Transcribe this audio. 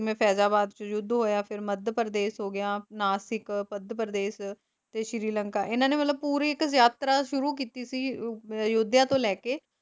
ਹਾਂਜੀ ਹਾਂਜੀ ਜਿੱਥੇ ਕਹਿ ਸਕਦੇ ਆ ਯੁੱਧ ਹੋਇਆ ਜਿਵੇਂ ਫੈਜ਼ਾਬਾਦ ਚ ਯੁੱਧ ਹੋਇਆ ਫੇਰ ਮੱਧ ਪ੍ਰਦੇਸ਼ ਹੋ ਗਿਆ ਨਾਸ਼ਿਕ ਪੱਧ ਪ੍ਰਦੇਸ਼ ਤੇ ਸ਼੍ਰੀ ਲੰਕਾ ਇਹਨਾਂ ਨੇ ਪੂਰੀ ਇੱਕ ਯਾਤਰਾ ਸ਼ੁਤੁ ਕੀਤੀ ਸੀ ਅਹ ਅਯੋਧਿਆ ਤੋਂ ਲੈਕੇ